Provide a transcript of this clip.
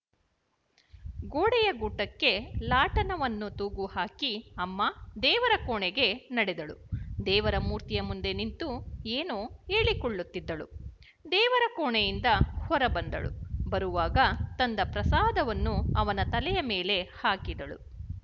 ಗೋಡೆಯ ಗೂಟಕ್ಕೆ ಲಾಟನವನ್ನು ತೂಗುಹಾಕಿ ಅಮ್ಮ ದೇವರ ಕೋಣೆಗೆ ನಡೆದಳು ದೇವರ ಮೂರ್ತಿಯ ಮುಂದೆ ನಿಂತು ಎನೋ ಹೇಳಿಕೊಳ್ಳುತ್ತಿದ್ದಳು ದೇವರ ಕೋಣೆಯಿಂದ ಹೊರ ಬಂದಳು ಬರುವಾಗ ತಂದ ಪ್ರಸಾದವನ್ನು ಅವನ ತಲೆಯ ಮೇಲೆ ಹಾಕಿದಳು